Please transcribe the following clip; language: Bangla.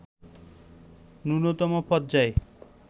ন্যূনতম পর্যায়ে